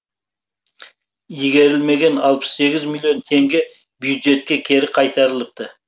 игерілмеген алпыс сегіз миллион теңге бюджетке кері қайтарылыпты